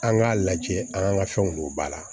An k'a lajɛ an ka fɛnw don ba la